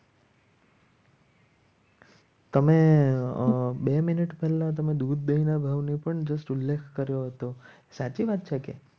તમે બે મિનિટ પહેલા તમે દૂધ દહીંના ભાવનો ઉલ્લેખ કર્યો હતો સાચી વાત છે. કે